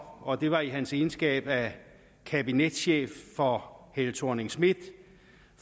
og det var i sin egenskab af kabinetchef for helle thorning schmidt